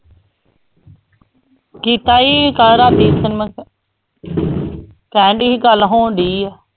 ਕੀਤਾ ਸੀ ਕਹਿਣਡੀ ਸੀ ਗੱਲ ਹੋਣਡੀ ਆ।